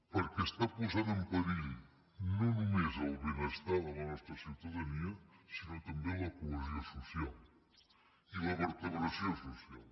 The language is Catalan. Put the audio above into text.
perquè està posant en perill no només el benestar de la nostra ciutadania sinó també la cohesió social i la vertebració social